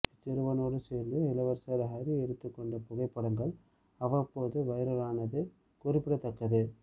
இச்சிறுவனோடு சேர்ந்து இளவரசர் ஹரி எடுத்துக்கொண்ட புகைப்படங்கள் அவ்வப்போது வைரலானது குறிப்பிடத்தக்கது